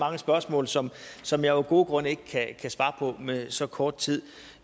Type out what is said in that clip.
mange spørgsmål som som jeg af gode grunde ikke kan svare på med så kort tid